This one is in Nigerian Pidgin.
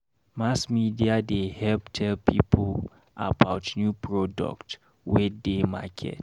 Mass media dey help tell pipo about new product wey dey market.